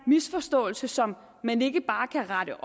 misforståelse som man ikke bare kan rette